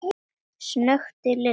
snökti Lilla.